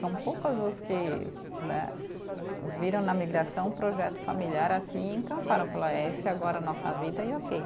São poucas as que né, viram na migração um projeto familiar assim e encantaram, falaram, esse é agora a nossa vida e ok.